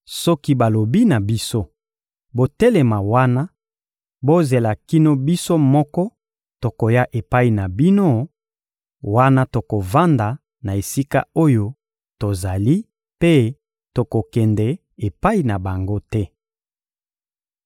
Soki balobi na biso: «Botelema wana, bozela kino biso moko tokoya epai na bino;» wana tokovanda na esika oyo tozali mpe tokokende epai na bango te.